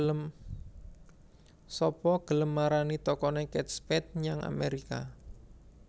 Sapa gelem marani tokone Kate Spade nyang Amerika